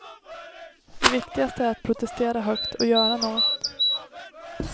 Det viktigaste är att protestera högt och göra något.